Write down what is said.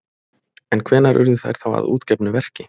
En hvenær urðu þær þá að útgefnu verki?